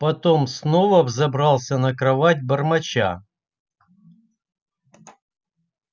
потом снова взобрался на кровать бормоча